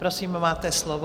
Prosím, máte slovo.